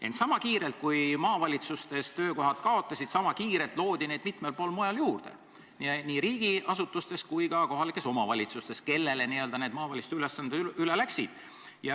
Ent sama kiirelt kui maavalitsustes töökohad kaotati, loodi neid mitmel pool mujal juurde, nii riigiasutustes kui ka kohalikes omavalitsustes, kellele maavalitsuste ülesanded üle läksid.